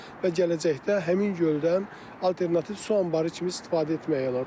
Və gələcəkdə həmin göldən alternativ su anbarı kimi istifadə etmək olar.